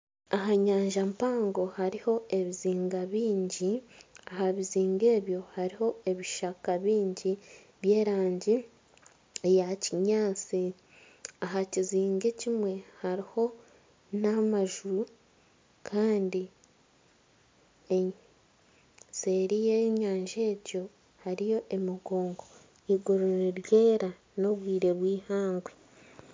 Aha nyanja mpango hariho ebizinga byingi aha bizinga ebyo hariho ebishaka byingi by'erangi eya kinyaatsi, aha kizinga ekimwe hariho n'amanju kandi seeri y'enyanja egyo hariyo emigongo eiguru niryera n'obwire bw'eihangwe.